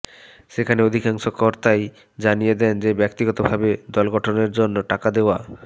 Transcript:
সেখানে অধিকাংশ কর্তাই জানিয়ে দেন যে ব্যক্তিগতভাবে দলগঠনের জন্য টাকা দেওয়া